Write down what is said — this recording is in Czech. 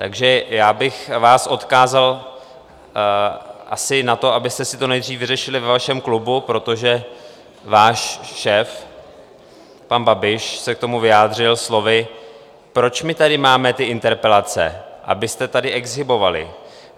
Takže já bych vás odkázal asi na to, abyste si to nejdřív vyřešili ve vašem klubu, protože váš šéf pan Babiš se k tomu vyjádřil slovy: Proč my tady máme ty interpelace, abyste tady exhibovali?